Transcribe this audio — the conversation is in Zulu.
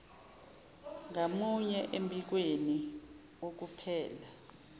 ngamunye embikweni wokuphela